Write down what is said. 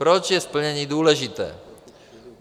Proč je splnění důležité?